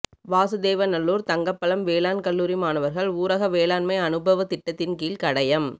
வாசுதேவநல்லூா் தங்கப்பழம் வேளாண் கல்லூரி மாணவா்கள் ஊரக வேளாண்மை அனுபவத் திட்டத்தின்கீழ் கடையம்